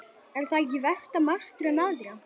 Er það ekki versta martröð mæðra?